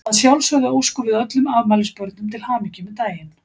Að sjálfsögðu óskum við öllum afmælisbörnum til hamingju með daginn.